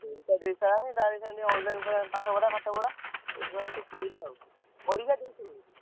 ପରୀକ୍ଷା ଦେଇ ଦେଇ ସାଇଲାଣି ତାର ଅଇଖା ଯୋଉ online ଫନଲାଇନ ପାଠ ପଢା ପାଠ ପଢା। ସେଇଥିପାଇଁ ସେ କହୁଥିଲା ଆଉ ପରୀକ୍ଷା ଦେଇସାରିଲାଣି।